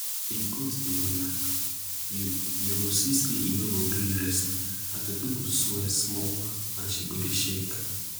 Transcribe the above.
if goat dey wan knack you you go see say e no go gree rest her toto go swell small and she go dey shake